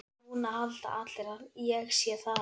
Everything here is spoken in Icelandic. Og núna halda allir að ég sé þaðan.